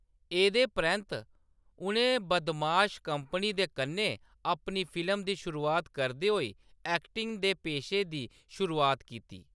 एह्‌‌‌दे परैंत्त, उ'नें बदमाश कंपनी दे कन्नै अपनी फिल्म दी शुरुआत करदे होई ऐक्टिंग दे पेशे दी शुरुआत कीती।